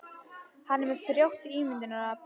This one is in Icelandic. Hann er með frjótt ímyndunarafl.